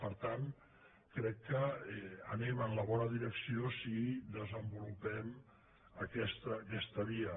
per tant crec que anem en la bona direcció si desenvolupem aquesta via